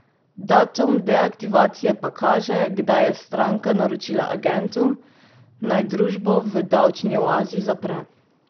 Datum deaktivacije pa kaže, kdaj je stranka naročila agentu, naj družbo v davčni oazi zapre.